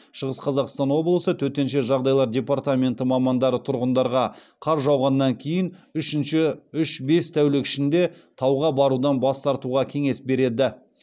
шығыс қазақстан облысы төтенше жағдайлар департменті мамандары тұрғындарға қар жауғаннан кейін үш бес тәулік ішінде тауға барудан бас тартуға кеңес береді